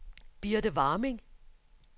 Birthe Warming